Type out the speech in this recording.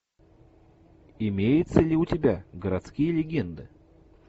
имеется ли у тебя городские легенды